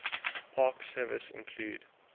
park service include